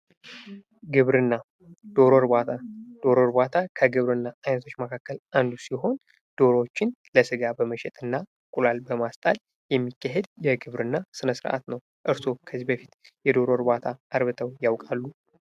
ግብርና ዶሮ እርባታ ዶሮ እርባታ ግብርና ዐይነቶች ውስጥ አንዱ ሲሆን ዶሮዎችን ለስጋ በመሸጥ እንቁላል በመሸጥ የሚካሄድ የግብርና ስነ-ስርዓት ነው። እርሶ ከዚህ በፊት የዶሮ እርባታ አርብተው ያውቃሉ?